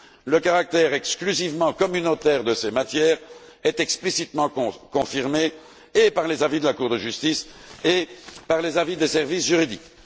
Le caractère exclusivement communautaire de ces matières est explicitement confirmé et par les avis de la Cour de justice, et par les avis des services juridiques.